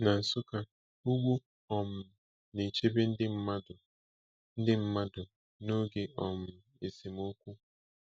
Na Nsukka, ugwu um na-echebe ndị mmadụ ndị mmadụ n'oge um esemokwu.